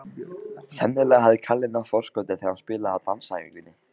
Sennilega hafði Kalli náð forskoti þegar hann spilaði á dansæfingunni.